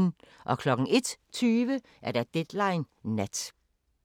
01:20: Deadline Nat